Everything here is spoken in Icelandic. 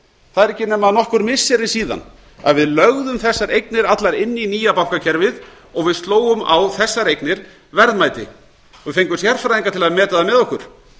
það eru ekki nema nokkur missiri síðan við lögðum þessar eignir allar inn í nýja bankakerfið og við slógum á þessar eignir verðmæti og fengum sérfræðinga til að meta það með okkur